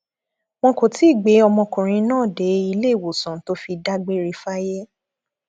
wọn kò tí ì gbé ọmọkùnrin náà dé iléewòsàn tó fi dágbére fáyé